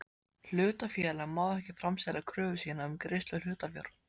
Hlutafélag má ekki framselja kröfu sína um greiðslu hlutafjár.